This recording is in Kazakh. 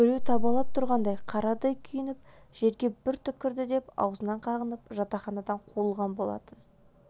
біреу табалап тұрғандай қарадай күйініп жерге бір түкірді деп аузынан қағынып жатақханадан қуылған болатын